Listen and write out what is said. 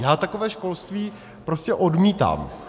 Já takové školství prostě odmítám.